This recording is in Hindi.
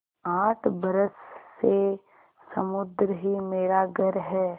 आठ बरस से समुद्र ही मेरा घर है